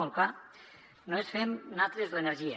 molt clar no ens fem natres l’energia